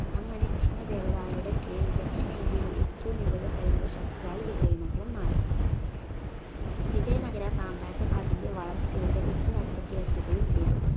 അങ്ങനെ കൃഷ്ണദേവരായരുടെ കീഴിൽ ദക്ഷിണേന്ത്യയിൽ ഏറ്റവും മികവ് സൈനിക ശക്തിയായി വിജയ നഗരം മാറി വിജയ നഗര സാമ്രാജ്യം അതിൻറെ വളർച്ചയുടെ ഉച്ചമറ്റത്തിലെത്തുകയും ചെയ്തു